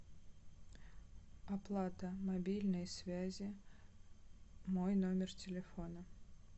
оплата мобильной связи мой номер телефона